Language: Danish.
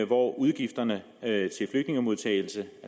hvor udgifterne